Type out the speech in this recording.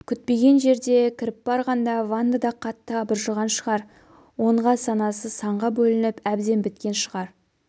күтпеген жерде кіріп барғанда ванда да қатты абыржыған шығар онға санасы санға бөлініп әбден біткен шығар